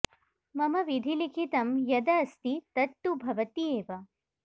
मम विधिलिखितं यद अस्ति तद् तु भवति एव